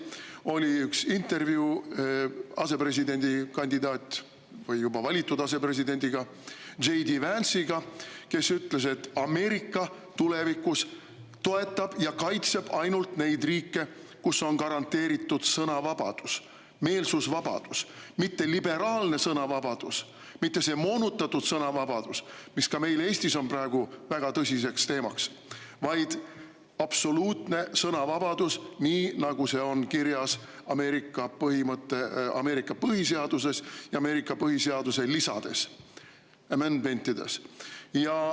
See oli üks intervjuu asepresidendikandidaadiga või juba valitud asepresidendiga J. D. Vance'iga, kes seal ütles, et Ameerika tulevikus toetab ja kaitseb ainult neid riike, kus on garanteeritud sõnavabadus, meelsusvabadus, mitte liberaalne sõnavabadus, mitte see moonutatud sõnavabadus, mis ka meil Eestis on praegu väga tõsiseks teemaks, vaid absoluutne sõnavabadus, nii nagu see on kirjas Ameerika põhiseaduses ja Ameerika põhiseaduse lisades, amendment'ides.